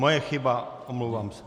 Moje chyba, omlouvám se.